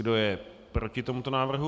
Kdo je proti tomuto návrhu?